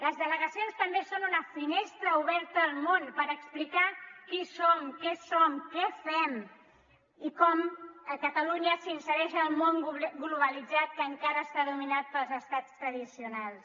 les delegacions també són una finestra oberta al món per explicar qui som què som què fem i com catalunya s’insereix en el món globalitzat que encara està dominat pels estats tradicionals